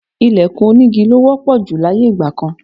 Ìlẹ̀kùn onígi ló wọ́pọ̀ jù láyé ìgbà kan